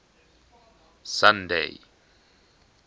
sunday